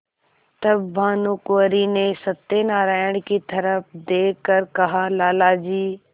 तब भानुकुँवरि ने सत्यनारायण की तरफ देख कर कहालाला जी